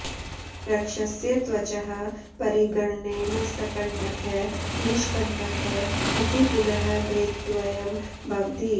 वृक्षस्य त्वचः परिगणनेन सकण्टकः निष्कण्टकः इति पुनः भेदद्वयं भवति